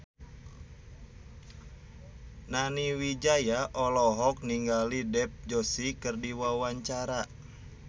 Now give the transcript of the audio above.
Nani Wijaya olohok ningali Dev Joshi keur diwawancara